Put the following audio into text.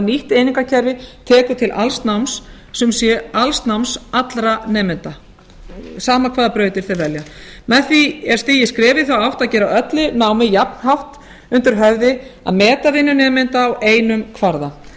nýtt einingakerfi tekur til alls náms sem sé alls náms allra nemenda sama hvaða brautir þeir velja með því er stigið skref í þá átt að gera öllu námi jafnhátt undir höfði að meta vinnu nemenda á einum kvarða